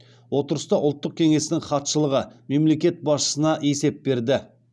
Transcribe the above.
отырыста ұлттық кеңестің хатшылығы мемлекет басшысына есеп берді